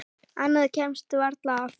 Annað kemst varla að.